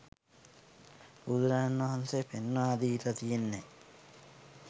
බුදුරජාණන් වහන්සේ පෙන්වා දීලා තියෙන්නේ